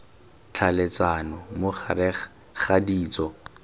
tlhaeletsano mo gareg ga ditso